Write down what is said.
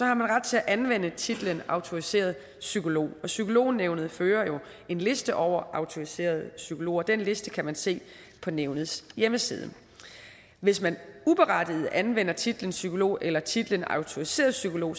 har man ret til at anvende titlen autoriseret psykolog psykolognævnet fører jo en liste over autoriserede psykologer og den liste kan man se på nævnets hjemmeside hvis man uberettiget anvender titlen psykolog eller titlen autoriseret psykolog